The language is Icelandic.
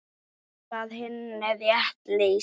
Þar var Hinna rétt lýst.